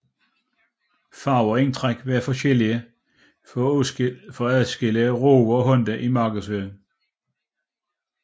Farver og indtræk var dog forskellige for at adskille Rover og Honda i markedsføringen